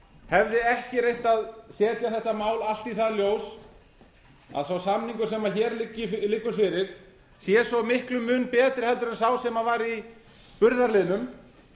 hefði ekki reynt að setja þetta mál allt í það ljós að sá samningur sem hér liggur fyrir sé svo miklum mun betri en sá sem var í burðarliðnum